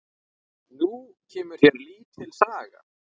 Nú kemur hér lítil saga.